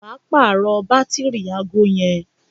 wà á pààrọ̀ bátìrì aago yẹn